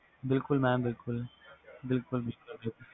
ਬਿਲਕੁਲ mam ਬਿਲਕੁਲ